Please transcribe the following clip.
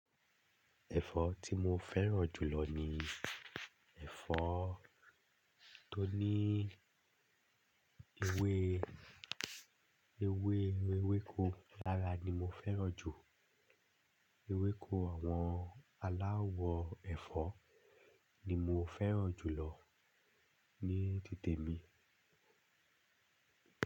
Ẹ̀fọ́ tí mo fẹ́ràn jù lọ ni ẹ̀fọ́ tó ní ewé, ewé, ewéko lára ni mo fẹ́ràn jù. Ewéko àwọn aláwọ̀ ẹ̀fọ́ ni mo fẹ́ràn jù lọ ní tite mi.